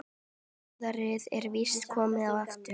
Góðærið er víst komið aftur.